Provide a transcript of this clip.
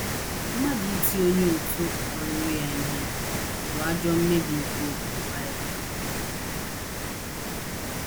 Mmadụ iti onye òtù ọlụlụ ya ihe bụ ajọ mmebi nke ụkpụrụ Bible.